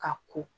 Ka ko